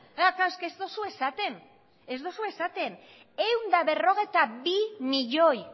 klaro ez duzue esaten ehun eta berrogeita bi milioi